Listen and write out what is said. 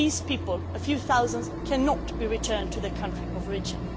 These people, a few thousand, cannot be returned to their countries of origin.